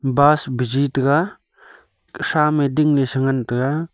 bus buji taiga khesha me dingle tengan taiga.